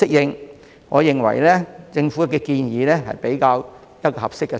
因此，我認為政府建議的步伐較為合適。